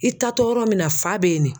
I taatɔ yɔrɔ min na fa bɛ ye.